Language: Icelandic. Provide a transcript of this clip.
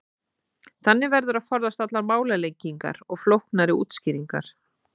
þannig verður að forðast allar málalengingar og flóknari útskýringar